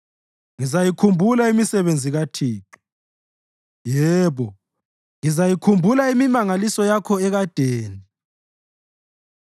Ngizayikhumbula imisebenzi kaThixo; yebo, ngizayikhumbula imimangaliso yakho yekadeni.